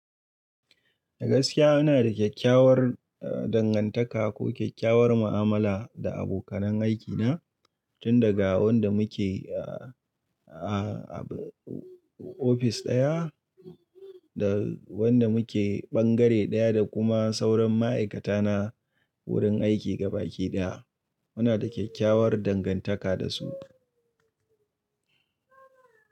Gaskiya ina da kyakkyawar, eh, dangantaka ko kyakkyawar mu'amala da abokanan aiki na tun daga wanda muke a, a ofis ɗaya da wanda muke ɓangare ɗaya da kuma sauran ma'aikata na wurin aiki gaba ɗaya. Muna da kyakkyawar dangantaka da su.